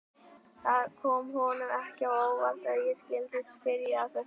Það kom honum ekki á óvart að ég skyldi spyrja að þessu.